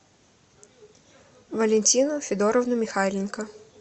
валентину федоровну михайленко